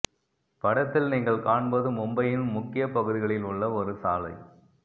படத்தில் நீங்கள் காண்பது மும்பையின் முக்கிய பகுதிகளில் உள்ள ஒரு சாலை